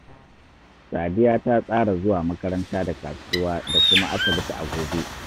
Sadiya ta tsara zuwa makaranta da kasuwa da kuma asibiti a gobe